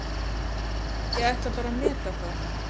Ég ætla bara að meta það.